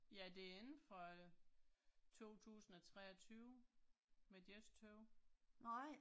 Ja det ikke fra 2023 ville jeg tøve